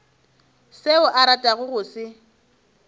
seo a ratago go se